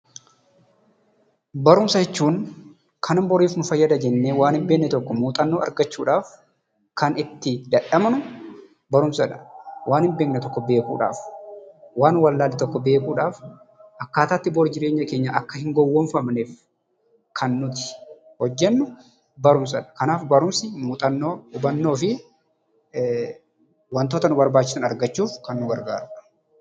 Barumsa jechuun waan hin beekne tokko baruuf boriif ni fayyada jennee kan barannuudha. Muuxannoo argachuuf kan itti dadhabnu barumsaadha. Waan hin beekne tokko beekuudhaaf, waan walaallee tokko baruudhaaf akkaata itti bor jireenya keenyaaf hin gowwofamneef kan nuti hojjennu barumsaadha. Kanaaf barumsi muuxannoo, hubannoo fi wantoota nu barbaachisan argachuuf kan nu gargaaranuu dha.